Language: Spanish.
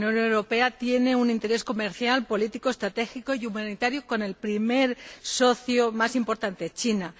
La Unión Europea tiene un interés comercial, político, estratégico y humanitario con el primer socio más importante China.